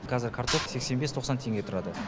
казір картоп сексен бес тоқсан теңге тұрады